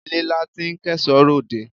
Ilé la ti ń kẹ́ṣọ̀ọ́ ròde.